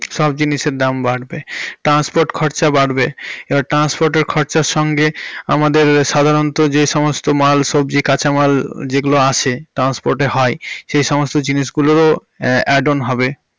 সব জিনিসের দাম বাড়বে। transport খরচা বাড়বে। এবার transport এর খরচার সঙ্গে আমাদের সাধারণত যে সমস্ত মাল সবজি কাঁচা মাল যেগুলো আসে transport এ হয় সে সমস্ত জিনিসগুলোরও add on হবে।